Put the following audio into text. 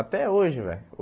Até hoje, velho.